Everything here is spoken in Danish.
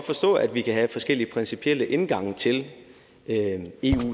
forstå at vi kan have forskellige principielle indgange til eu